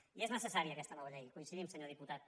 i és necessària aquesta nova llei hi coincidim senyor diputat